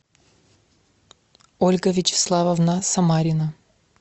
ольга вячеславовна самарина